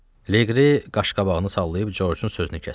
Leqri qaşqabağını sallayıb Corcun sözünü kəsdi.